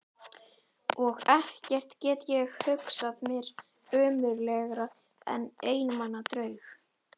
Og ekkert get ég hugsað mér ömurlegra en einmana draug.